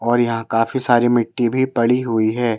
और यहाँ काफी सारी मिट्टी भी पड़ी हुई है।